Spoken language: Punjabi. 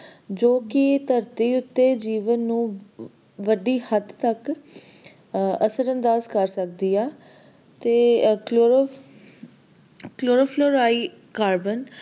ਜੋ ਕਿ ਧਰਤੀ ਉੱਤੇ ਜੀਵਨ ਨੂੰ ਵੱਡੀ ਹੱਦ ਤਕ ਅਹ ਅਸਰਅੰਦਾਜ਼ ਕਰ ਸਕਦੀ ਆ ਤੇ chloro chlorofluoride carbon,